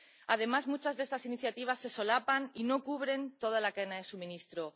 Además, muchas de estas iniciativas se solapan y no cubren toda la cadena de suministro.